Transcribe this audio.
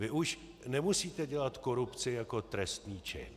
Vy už nemusíte dělat korupci jako trestný čin.